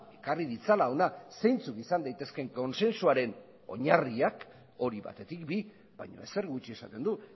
ekarri ditzala hona zeintzuk izan daitezkeen kontsensuaren oinarriak hori batetik bi baina ezer gutxi esaten du